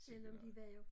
Sikke noget